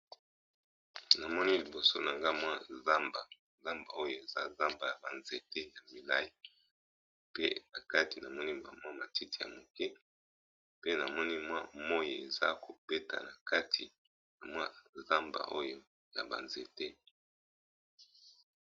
Namoni liboso nangai eza nzamba, oyo eza ya ba nzete milayi pe nakati eza matiti yamike pe namoni moyi ezokobeta na kati na zamba oyo.